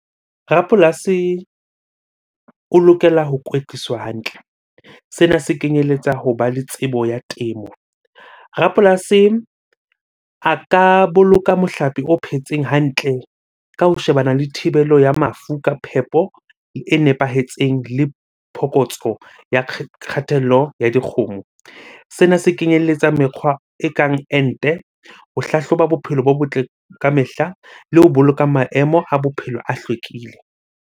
Rapolasi o lokela ho kwetliswa hantle, sena se kenyeletsa hoba le tsebo ya temo. Rapolasi a ka boloka mohlape o phetseng hantle ka ho shebana le thibelo ya mafu ka phepo e nepahetseng le phokotso ya kgatello ya dikgomo. Sena se kenyelletsa mekgwa ekang ente, ho hlahloba bophelo bo botle ka mehla le ho boloka maemo a bophelo a hlwekile.